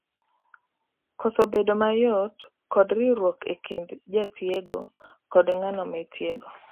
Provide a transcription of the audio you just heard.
koso bedo mayot kod riwruok e kind jatiogo kod ng'ano ma itiego